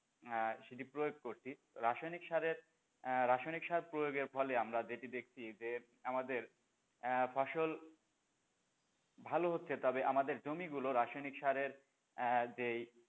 আহ যদি প্রয়োগ করছি রাসায়নিক সারের রাসায়নিক সার প্রয়োগের ফলে আমরা যেটি দেখছি যে আমাদের আ ফসল ভালো হচ্ছে তবে আমাদের জমি গুলো রাসানিক রাসের আহ যেই,